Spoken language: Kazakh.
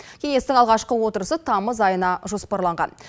кеңестің алғашқы отырысы тамыз айына жоспарланған